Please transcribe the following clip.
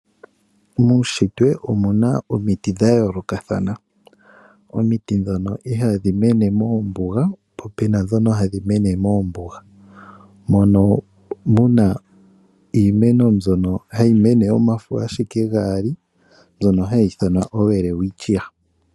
Muushitwe omuna omiti dha yoolokathana. Omiti ndhona odhili hadhi mene mombuga, mono muna iimeno mbyoka hayi mene ashike omafo gaali hayi ithanwa owelewichia.